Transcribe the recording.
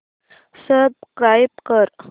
subscribe कर